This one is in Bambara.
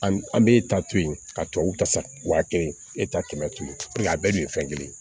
An b'e ta to yen ka tubabuw ta sa wa kelen e ta kɛmɛ a bɛɛ dun ye fɛn kelen ye